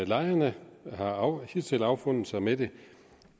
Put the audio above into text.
lejerne har hidtil affundet sig med det